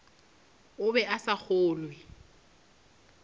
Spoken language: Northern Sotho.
o be a sa kgolwe